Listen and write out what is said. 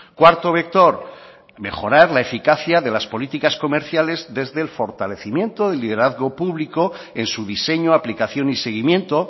cuarto vector mejorar la eficacia de las políticas comerciales desde el fortalecimiento del liderazgo público en su diseño aplicación y seguimiento